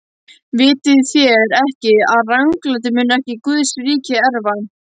Vitið þér ekki, að ranglátir munu ekki Guðs ríki erfa?